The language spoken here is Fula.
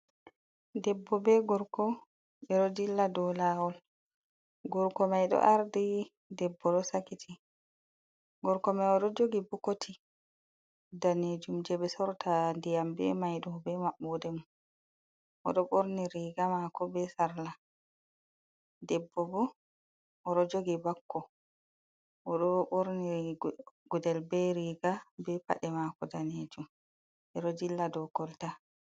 Debbo bee gorko, ɓe ɗo dilla dow laawol, gorko may ɗo ardi debbo ɗo sakiti, gorko may o ɗo jogi bokoti daneejum jey ɓe sorrata ndiyam bee may ɗoo, bee maɓɓoode mum. O ɗo ɓorni riiga maako bee sarla, debbo bo o ɗo jogi bakko o ɗo ɓorni gudel bee riiga bee paɗe maako daneejum ɓe ɗo dilla dow kolta.